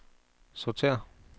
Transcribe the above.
sortér